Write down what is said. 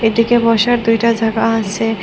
এদিকে বসার দুইটা জায়গা আসে।